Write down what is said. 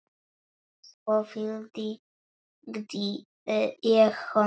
Svo fylgdi ég honum heim.